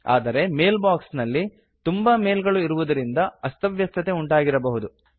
ಆದರೆ mail box ನಲ್ಲಿ ತುಂಬ ಮೇಲ್ ಗಳು ಇರುವುದರಿಂದ ಅಸ್ತವ್ಯಸ್ತತೆ ಉಂಟಾಗಿರಬಹುದು